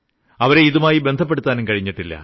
അവരെ ഇതുമായി ബന്ധപ്പെടുത്താനും കഴിഞ്ഞിട്ടില്ല